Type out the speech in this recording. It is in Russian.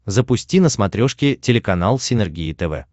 запусти на смотрешке телеканал синергия тв